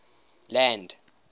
land